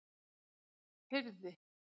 Firði